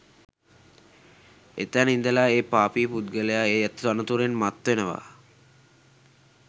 එතැන ඉඳලා ඒ පාපී පුද්ගලයා ඒ තනතුරෙන් මත් වෙනවා